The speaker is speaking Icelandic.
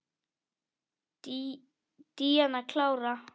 Díana klára.